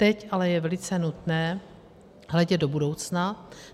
Teď je ale velice nutné hledět do budoucna.